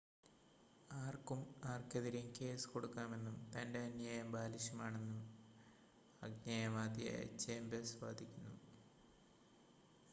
"""ആർക്കും ആർക്കെതിരെയും കേസ് കൊടുക്കാമെന്നും" തന്റെ അന്യായം "ബാലിശമാണെന്നും" ആജ്ഞേയവാദിയായ ചേമ്പേഴ്‌സ് വാദിക്കുന്നു.